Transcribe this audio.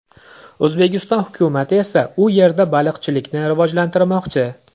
O‘zbekiston hukumati esa u yerda baliqchilikni rivojlantirmoqchi .